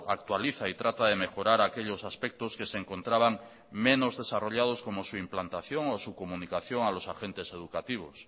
actualiza y trata de mejorar aquellos aspectos que se encontraban menos desarrollados como su implantación o su comunicación a los agentes educativos